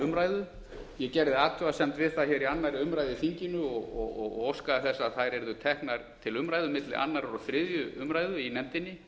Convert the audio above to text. umræðu ég gerði athugasemd við það hér í annarri umræðu í þinginu og óskaði þess að þær yrðu teknar til umræðu milli annars og þriðju umræðu í nefndinni